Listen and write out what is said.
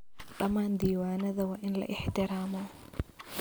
Dhammaan diiwaanada waa in la ixtiraamo.